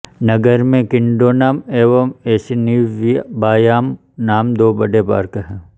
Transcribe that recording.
नगर में किंडोनान एवं एसिनीव्बायान नाम दो बड़े पार्क हैं